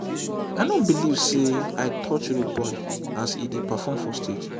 i no believe say i touch rudeboy as he dey perform for stage